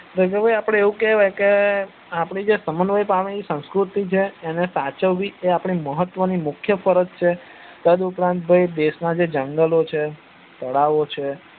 તને ખબર છે આપડે એવું કેવાય કે આપણી જે સમવય પામેલી સંસ્કૃતિ જે છે એને સાચવી એ આપણી મહત્વ અને મુખ્ય ફરજ છે તદ ઉપરાંત ભાઈ જે દેશ ના જે જંગલો છે તળાવો છે